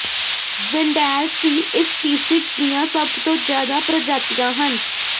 Weddell seal ਇਸ species ਦੀਆਂ ਸਭ ਤੋਂ ਜਿਆਦਾ ਪ੍ਰਜਾਤੀਆਂ ਹਨ